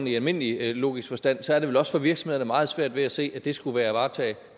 i almindelig logisk forstand er det vel også for virksomheder meget svært at se at det skulle være at varetage